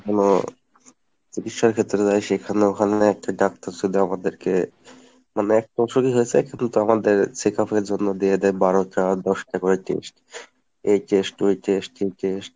হুম চিকিৎসার ক্ষেত্রে যায় সেখানেও ওখানে একটা ডাক্তার যদি আমাদেরকে মানে একটা অসুখই হয়েছে কিন্তু আমাদের checkup এর জন্য দিয়ে দেয় বারোটা দশটা করে test এই test ওই test সেই test.